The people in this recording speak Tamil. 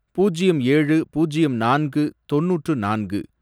பூஜ்யம் ஏழு, பூஜ்யம் நான்கு, தொண்ணூற்று நான்கு